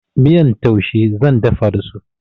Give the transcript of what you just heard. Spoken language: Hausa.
Miyar taushe zan dafa da su.